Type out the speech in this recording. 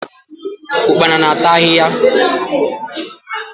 Ụkpana na-ata ahịhịa.